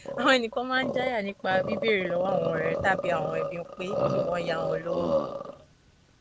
àwọn ẹnìkan máa n jáyà nípa bíbéèrè lọwọ àwọn ọrẹ tàbí àwọn ẹbí pé kí wọn yá àwọn lówó